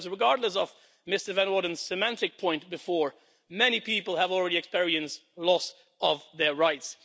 Because, regardless of Mr Van Orden's semantic point before, many people have already experienced loss of their rights.